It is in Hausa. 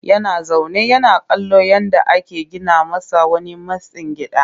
Yana zaune yana kallon yadda ake gina masa wani mitstsin gida